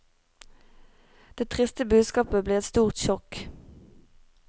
Det triste budskapet ble et stort sjokk.